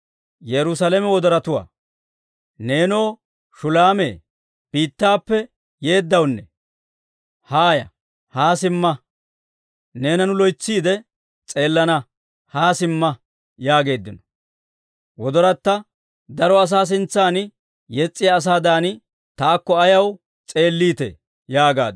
Neenoo Shulaame biittaappe yeeddawunne, haaya; haa simma! Neena nu loytsiide s'eelana; haa simma! yaageeddino. Wodoratta: Daro asaa sintsan yes's'iyaa asaadan, taakko ayaw s'eelliitee? yaagaaddu.